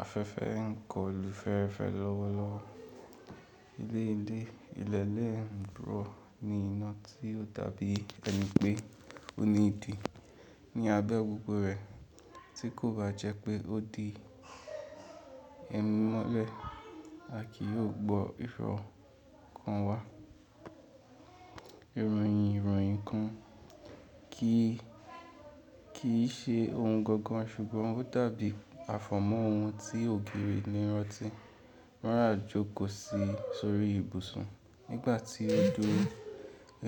Afẹ́fẹ́ ń kọlu fẹ́ẹ́rẹ́fẹ́ lọ́wọ́lọ́wọ́. Ilé ilé ìlẹ̀ẹ́ ń rọ̀ ní iná tí ó dàbí ẹni pé ó ní ìdí ní abẹ́ gbogbo rẹ̀, tí kò bá jẹ́ pé ó di ẹ̀mí mọ́lẹ̀, a kì í gbọ́ ìfọ̀kàn wa. Ìròyìn ìròyìn kan kì í ṣe ohun gangan ṣùgbọ́n ó dàbí àfọ̀mọ́ ohun tí ògiri lè rántí. Rárá jókòó sí sórí ibùsùn nígbà tí ó dúró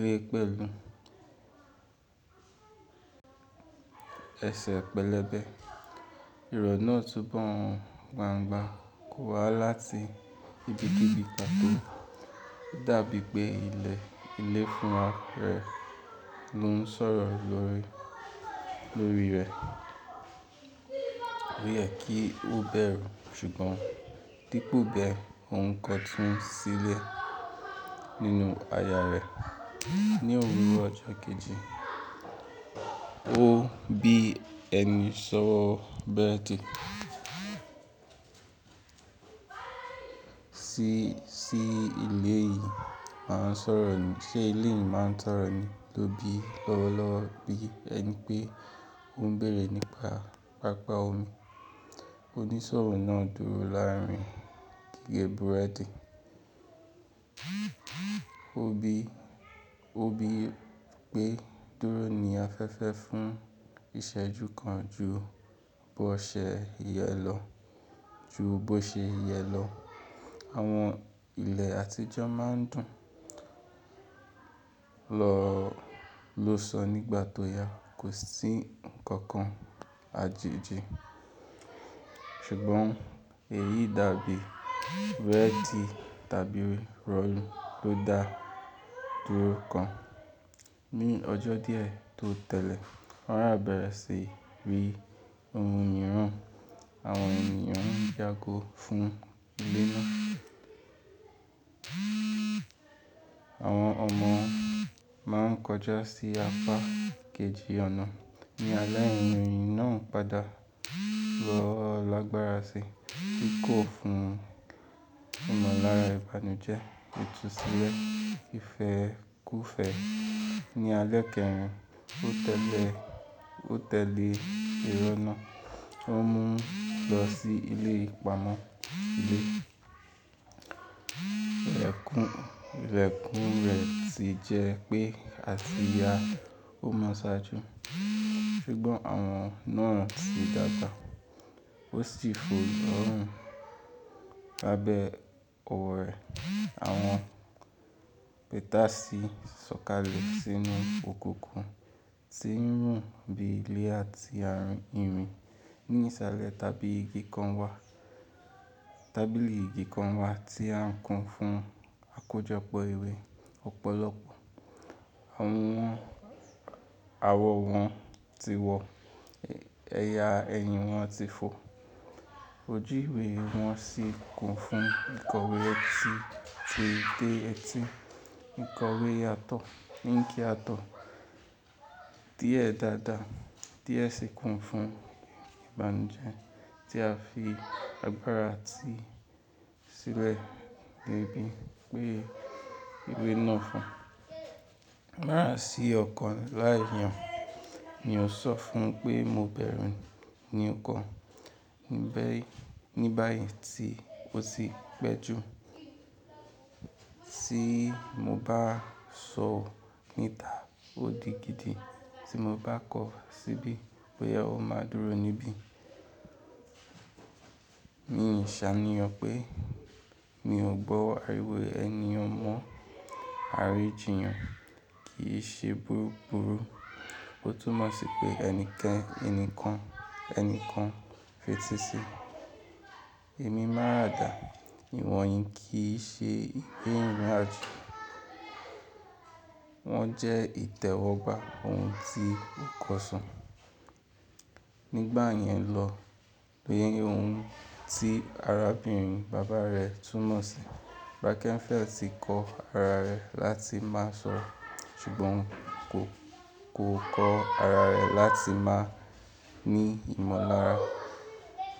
lé pẹ̀lú ẹsẹ̀ pẹlẹbẹ. Ìrọ̀ náà túnbọ̀n gbàngba kò wá láti ibikíbi pàtó. Ó dàbí pé ilẹ̀ ilé fúnra rẹ̀ ló ń sọ̀rọ̀ lórí rẹ̀. O yẹ kí ó bẹ̀rù, ṣùgbọ́n dípò bẹ, òun kọ tún sílẹ̀ nínú aya rẹ̀. Ni òwúrọ̀ ọjọ́ kejì, ó bí ẹni ṣọ́wọ́ bẹ́rẹ́ ti sí ilé yìí máa ń sọ̀rọ̀ ni, ṣe ilé yìí máa ń sọ̀rọ̀ ni ló bí lọ́wọ́lọ́wọ́ bí ẹni pé ó ń bèrè nípa pápá omi. Onísọ̀rọ̀ náà dúró láàárín gige búrẹ́dì. Ó bí pé dúró ni afẹ́fẹ́ fún ìṣẹ́jú kan ju bó ṣe yẹ lọ. Àwọn ilẹ̀ àtijọ́ máa ń dùn ló sọ nígbà tó yá, kò sí nǹkan kan àjèjì, ṣùgbọ́n èyí dàbí rẹ́dì tàbí rọ̀yìn ló dá dúró kan. Ní ọjọ́ díẹ̀ tó tẹ́lẹ̀, wọ́n á bẹ̀rẹ̀ sí í rí ohun mìíràn. Àwọn ènìyàn ń yágó fún ilé náà. Àwọn ọmọ máa ń kọjá sí apá kejì ọ̀nà. Ni alẹ́, ẹ̀yàn náà padà bọ́ lágbára si, kí kò fún ìmọ̀lára ìbànújẹ́, yọ tún sílẹ̀. Ifẹ́ kú ìfẹ́. Ni alẹ́ kẹrin tó tẹ́lẹ̀, ìrọ̀ náà tó mú un lọ sí ilé ìpamọ́ lè. Ìlẹ̀kùn rẹ̀ sì jẹ́ pé, àti ya, ó mọ́sá ju. Ṣùgbọ́n àwọn náà ti dàtà. Ó sì fò ọ̀hún, lábẹ́ òwe àwọn pẹ́tásí, sọ̀kalẹ̀ sínú òkùnkùn tí ń wù bí ilé àti ààrín irin. Ní ìsàlẹ̀ tábìlì igi kan wà tí à ń kùn fún àkójọpọ̀ ìwé ọ̀pọ̀lọpọ̀. Awọ wọn ti wọ, ẹ̀yà ẹ̀yìn wọn ti fò. Ojú ìwé wọn sì kùn fún ìkọ̀wé ọtí tó dé etí. Ìkọ̀wé yàtọ̀ níǹkí yàtọ̀ díẹ̀ dáadáa tí ẹ sì kùn fún ìbànújẹ́ tí a fi agbára ti sílẹ̀ níbí pé ìwé náà fún. Lára sí ọ̀kọ̀ láì yàn ni ó sọ fún pé mo bẹ̀rù ní ọkọ̀ ní báyìí tí ó ti pẹ́ jù. Tí mo bá sọ ọ níta ó di gidi tí mo bá kọ̀ ọ́ síbí pé ẹ ó máa dúró níbí. Mi ò ṣàníyàn pé mi ò gbọ́ àríwé ẹni ọmọ àríjìyàn kì í ṣe búrú búrú. Ó túnmọ̀ sí pé ẹnikẹ́ni kan fetí sí. Èmi máràdà ìwọ̀nyí kì í ṣe ìbéèrè àjú. Wọ́n jẹ́ ìtẹ̀wọ́gbà ohun tí ó kàn sàn. Nígbà yẹn lọ, lé ohun tí arábìnrin bàbá rẹ̀ túnmọ̀ sí. Rockefeller ti kọ́ ara rẹ̀ láti má sọ, ṣùgbọ́n kò kọ́ ara rẹ̀ láti má ní ìmọ̀lára.